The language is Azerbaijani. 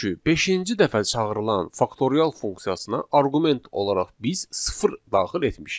Çünki beşinci dəfə çağırılan faktorial funksiyasına arqument olaraq biz sıfır daxil etmişik.